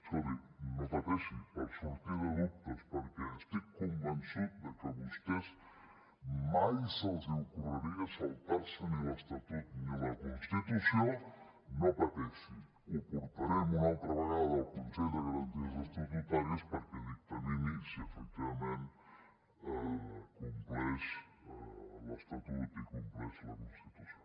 escolti no pateixi per sortir de dubtes perquè estic convençut de que a vostès mai se’ls ocorreria saltar se ni l’estatut ni la constitució no pateixi ho portarem una altra vegada al consell de garanties estatutàries perquè dictamini si efectivament compleix l’estatut i compleix la constitució